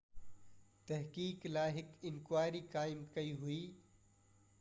تحقيق لاءِ هڪ انڪوائري قائم ڪئي وئي